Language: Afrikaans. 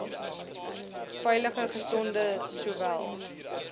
veilige gesonde sowel